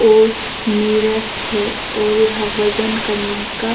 और मिरर है और यह वजन करने का--